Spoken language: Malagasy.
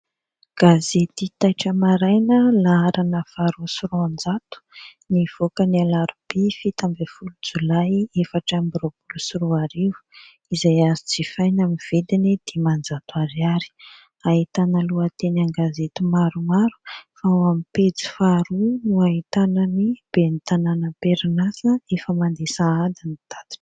Gazety taitra maraina laharana faha roa sy roanjato, nivoaka ny alarobia fito ambiny folo jolay efatra ambiny roapolo sy roa arivo, izay azo jifaina aminy vidiny dimanjato ariary. Ahitana lohateny an- gazety maromaro, fa ao amin'ny pejy faharoa no hahitana ny ben'ny tanàna amperin'asa efa mande sahady ny tatitra.